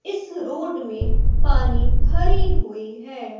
इस रोड में पानी भरे हुई है।